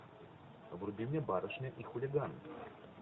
вруби мне барышня и хулиган